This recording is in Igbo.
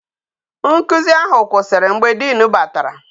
Nkuzi ahụ kwụsịrị mgbe dean batara